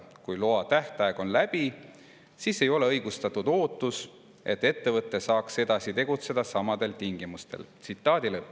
Kui loa tähtaeg on läbi, siis ei ole õigustatud ootus, et saaks edasi tegutseda samadel tingimustel.